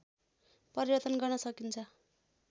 परिवर्तन गर्न सकिन्छ